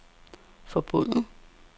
forbundet